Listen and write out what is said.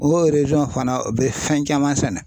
O fana u bɛ fɛn caman sɛnɛ.